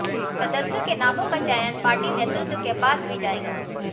सदस्यों के नामों का चयन पार्टी नेतृत्व के पास भी जाएगा